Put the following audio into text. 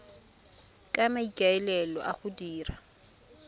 ka maikaelelo a go dira